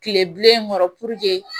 Kile bilen kɔrɔ puruke